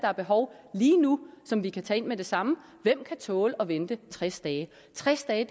har behov lige nu som vi kan tage ind med det samme og hvem kan tåle at vente tres dage tres dage